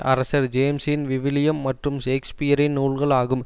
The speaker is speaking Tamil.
அரசர் ஜேம்ஸின் விவிலியம் மற்றும் ஷேக்ஸ்பியரின் நூல்கள் ஆகும்